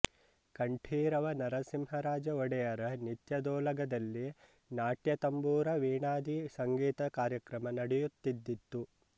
ಕಂಠೀರವ ನರಸಿಂಹರಾಜ ಒಡೆಯರ ನಿತ್ಯದೋಲಗದಲ್ಲಿ ನಾಟ್ಯತಂಬೂರ ವೀಣಾದಿ ಸಂಗೀತ ಕಾರ್ಯಕ್ರಮ ನಡೆಯುತ್ತಿದ್ದಿತು